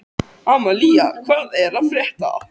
Amalía, hvað er að frétta?